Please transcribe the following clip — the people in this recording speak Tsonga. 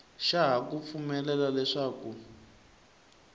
xa ha ku pfumelela leswaku